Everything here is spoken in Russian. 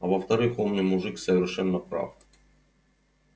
а во-вторых умный мужик совершенно прав